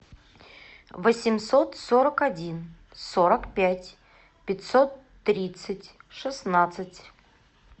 восемьсот сорок один сорок пять пятьсот тридцать шестнадцать